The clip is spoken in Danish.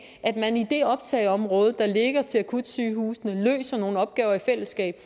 at optageområde der ligger til akutsygehusene løser nogle opgaver i fællesskab